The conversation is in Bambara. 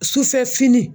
Sufɛ fini